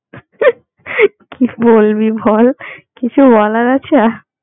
কি বলবি বল কিছু বলার আছে আর